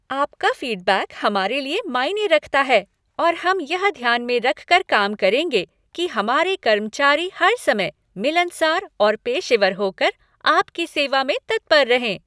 आपका फीडबैक हमारे लिए मायने रखता है और हम यह ध्यान में रखकर काम करेंगे कि हमारे कर्मचारी हर समय मिलनसार और पेशेवर होकर आपकी सेवा में तत्पर रहें।